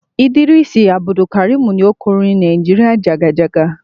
Idris Abdukarim ni ó kọ orin "Nigeria jàgàjágá''.